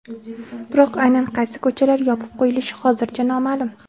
Biroq aynan qaysi ko‘chalar yopib qo‘yilishi hozircha noma’lum.